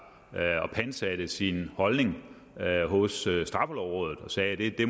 pantsatte sin holdning hos straffelovrådet og sagde at det